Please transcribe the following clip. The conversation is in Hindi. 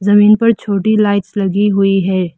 पर छोटी लाइट्स लगी हुई है।